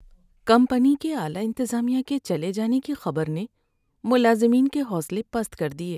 Company کے اعلی انتظامیہ کے چلے جانے کی خبر نے ملازمین کے حوصلے پست کر دیے۔